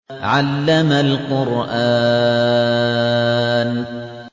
عَلَّمَ الْقُرْآنَ